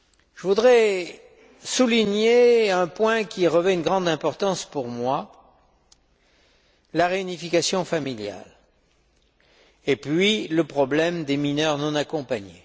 Je voudrais souligner un point qui revêt une grande importance pour moi la réunification familiale, et puis, le problème des mineurs non accompagnés.